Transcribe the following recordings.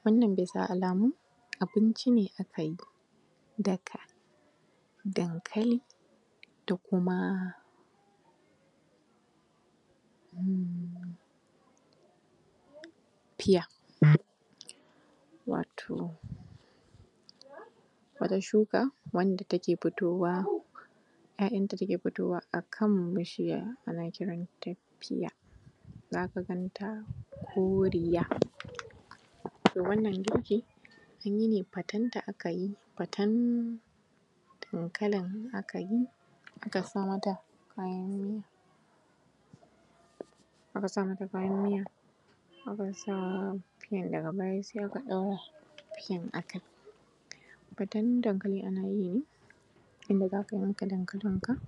Wannan bisa alamu abinci ne aka yi daka dankali da kuma, um piya, wato wata shuka, wanda take fitowa, ‘ya’yanta take fitowa a kan bishiya, ana kiranta ‘piya’, za ka gan ta koriya. To wannan girki, an yi ne, fatenta aka yi, faten dankalin aka yi, aka sa mata kayan miya, aka sa mata kayan miya, aka sa fiyan daga baya sai aka ɗora fiyan a kai. Faten dankali ana yi ne, inda za ka yanka dankalinka,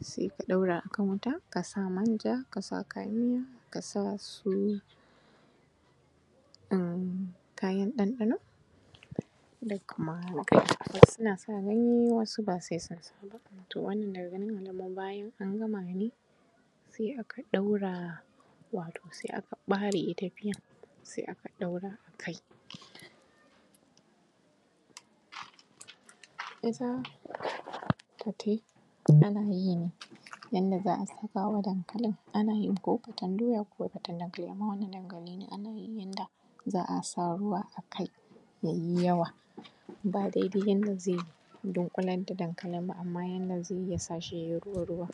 sai ka ɗora a kan wuta, ka sa manja, ka sa kayan miya, ka sa su um kayan ɗanɗano da kuma ganye. Wasu na sa ganye, wasu ba sai sun sa ba. To wannan daga ganin alamu bayan an gama ne, sai aka ɗora, wato sai aka ɓare ita piyan, sai aka ɗora a kai. Ita fate, ana yi ne, yanda za a saka wa dankalin, ana yin ko faten doya, ko faten dankali, amma wannan dankali ne, ana yi ne yanda za a sa ruwa a kai, ya yi yawa, ba daidai yanda zai dunƙular da dankalin ba, amma yanda zai yi, ya sa shi ya yi ruwa ruwa.